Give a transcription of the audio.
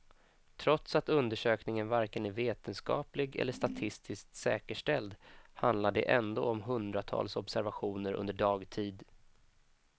Trots att undersökningen varken är vetenskaplig eller statistiskt säkerställd handlar det ändå om hundratals observationer under dagtid.